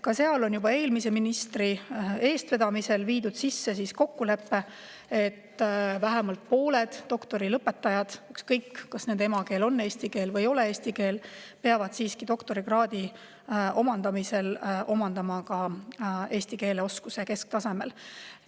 Ka seal on juba eelmise ministri eestvedamisel viidud sisse, et vähemalt pooled doktorilõpetajad, ükskõik kas nende emakeel on eesti keel või ei ole, peavad doktorikraadi omandamisel omandama ka eesti keele oskuse kesktasemel.